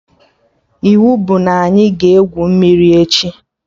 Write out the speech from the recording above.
Iwu bụ na anyị ga-egwu mmiri echi!